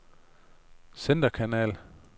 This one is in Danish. centerkanal